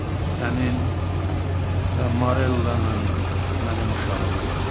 Sənin və Marellanın mənim uşağımız.